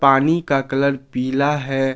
पानी का कलर पीला है।